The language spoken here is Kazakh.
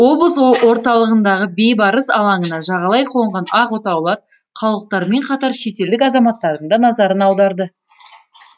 облыс орталығындағы бейбарыс алаңына жағалай қонған ақ отаулар қалалықтармен қатар шетелдік азаматтардың да назарын аударды